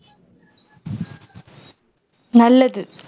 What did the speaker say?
நல்லது